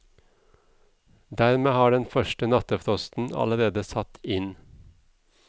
Dermed har den første nattefrosten allerede satt inn.